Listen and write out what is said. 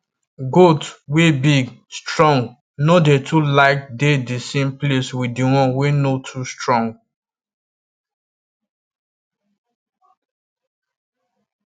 goat wey big strong no dey too like dey the same place with the one wey no too strong